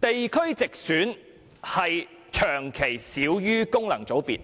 而地區直選議員亦長期少於功能界別議員。